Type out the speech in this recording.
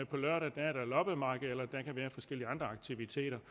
på lørdag er der loppemarked eller der kan være forskellige andre aktiviteter